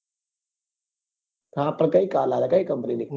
હા પણ કાર લાવ્યા કઈ company ની